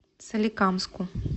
соликамску